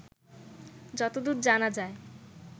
যতদূর জানা যায়